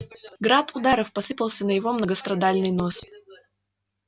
град ударов посыпался на его многострадальный нос